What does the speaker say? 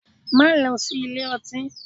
Má lọ sí ilé ọtí!